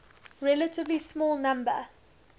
relatively small number